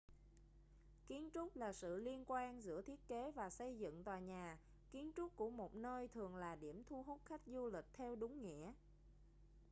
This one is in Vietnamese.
kiến trúc là sự liên quan giữa thiết kế và xây dựng tòa nhà kiến trúc của một nơi thường là điểm thu hút khách du lịch theo đúng nghĩa